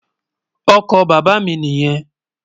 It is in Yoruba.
Ọkọ bàbá mi niyen.